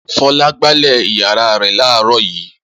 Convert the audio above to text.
Fọlá gbálẹ̀ ìyàrá rẹ̀ láàárọ̀ yìí.